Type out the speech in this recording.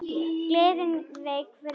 Gleðin vék fyrir glotti.